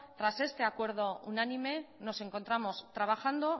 tras este acuerdo unánime nos encontramos trabajando